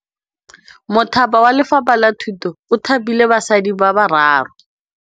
Mothapi wa Lefapha la Thutô o thapile basadi ba ba raro.